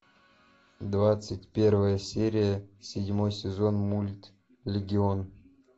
двадцать первая серия седьмой сезон мульт легион